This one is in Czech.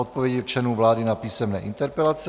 Odpovědi členů vlády na písemné interpelace